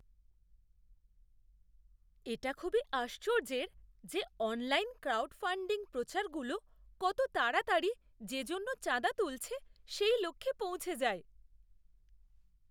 এটা খুবই আশ্চর্যের যে অনলাইন ক্রাউডফান্ডিং প্রচারগুলো কত তাড়াতাড়ি যে জন্যে চাঁদা তুলছে সেই লক্ষ্যে পৌঁছে যায়!